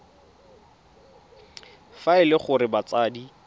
fa e le gore batsadi